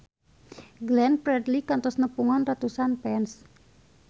Glenn Fredly kantos nepungan ratusan fans